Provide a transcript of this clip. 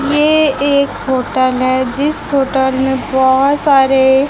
ये एक होटल है जिस होटल में बहुत सारे--